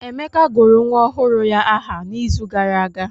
Emeka gụrụ nwa ọhụrụ ya aha n'izu gara aga.